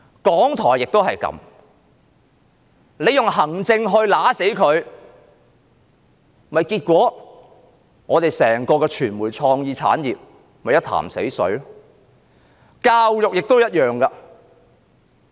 港台的情況也一樣，政府用行政來扼殺港台，結果香港的傳媒創意產業變成一潭死水。